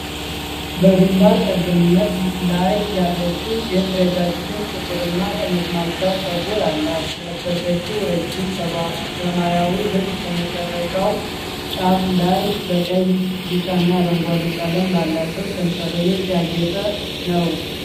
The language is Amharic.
በግንባር ቀደምት ላይ ያለችው ሴት ረጃጅም ጥቁርና ጠመዝማዛ ጸጉር አላት። የለበሰችው ረጅም ሰማያዊ ልብስ ከመጨረሻው ጫፍ ላይ በቀይ፣ ቢጫና አረንጓዴ ቀለም ባላቸው ሰንጠረዦች ያጌጠ ነው።